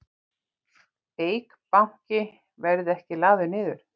Eik Banki verði ekki lagður niður